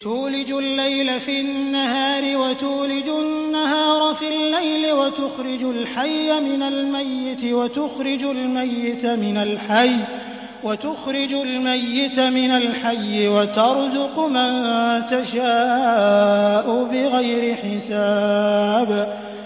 تُولِجُ اللَّيْلَ فِي النَّهَارِ وَتُولِجُ النَّهَارَ فِي اللَّيْلِ ۖ وَتُخْرِجُ الْحَيَّ مِنَ الْمَيِّتِ وَتُخْرِجُ الْمَيِّتَ مِنَ الْحَيِّ ۖ وَتَرْزُقُ مَن تَشَاءُ بِغَيْرِ حِسَابٍ